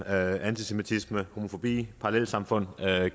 antisemitisme homofobi parallelsamfund